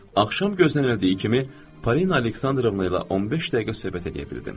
Axşam gözlənildiyi kimi Parina Aleksandrovna ilə 15 dəqiqə söhbət eləyə bildim.